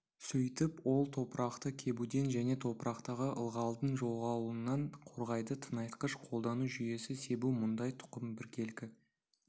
сөйтіп ол топырақты кебуден және топырақтағы ылғалдың жоғалуынан қорғайды тыңайтқыш қолдану жүйесі себу мұндай тұқым біркелкі